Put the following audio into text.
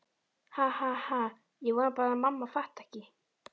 Ha ha ha- ég vona bara að mamma fatti ekki.